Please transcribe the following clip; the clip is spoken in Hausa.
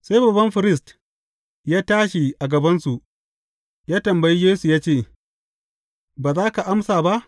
Sai babban firist ya tashi a gabansu, ya tambayi Yesu ya ce, Ba za ka amsa ba?